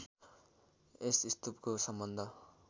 यस स्तूपको सम्बन्ध